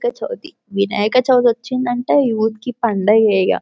వినాయక చవితి వినాయక చవితి వచ్చిందంటే యూత్ కి పండుగ ఈగ --